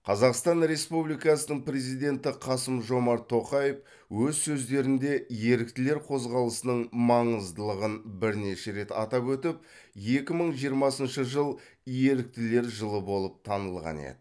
қазақстан республикасының президенті қасым жомарт тоқаев өз сөздерінде еріктілер қозғалысының маңыздылығын бірнеше рет атап өтіп екі мың жиырмасыншы жыл еріктілер жылы болып танылған еді